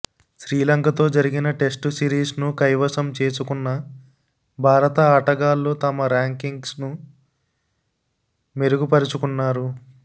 శ్రీలంకతో జరిగిన టెస్టు సిరీస్ను కైవసం చేసుకున్న భారత ఆటగాళ్లు తమ ర్యాంకింగ్స్ను మెరుగుపరుచుకున్నారు